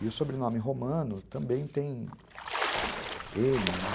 E o sobrenome romano também tem ene, né?